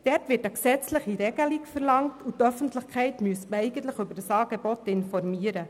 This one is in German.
Dort wird eine gesetzliche Regelung verlangt, und eigentlich müsste man die Öffentlichkeit über dieses Angebot informieren.